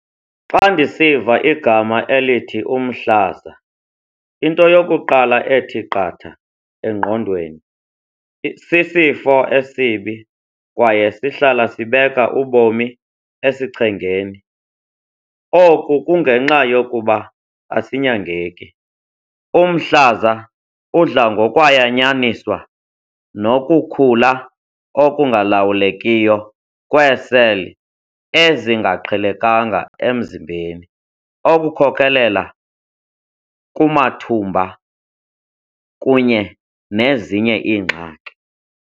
Xa ndisiva igama elithi umhlaza into yokuqala ethi qatha engqondweni sisifo esibi kwaye sihlala sibeka ubomi esichengeni. Oku kungenxa yokuba asinyangeki. Umhlaza udla ngokwayanyaniswa nokukhula okungalawulekiyo kweeseli ezingaqhelekanga emzimbeni okukhokelela kumathumba kunye nezinye iingxaki.